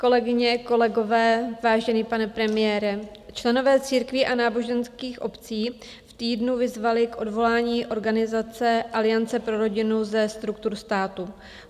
Kolegyně, kolegové, vážený pane premiére, členové církví a náboženských obcí v týdnu vyzvali k odvolání organizace Aliance pro rodinu ze struktur státu.